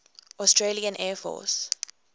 australian air force